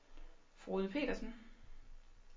Frode Petersen